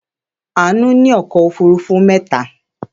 Àánú ní ọkọ̀-òfurufú mẹ́ta.